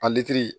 A lilitiri